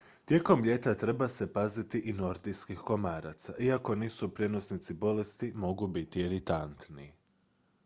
tijekom ljeta treba se paziti i nordijskih komaraca iako nisu prijenosnici bolesti mogu biti iritantni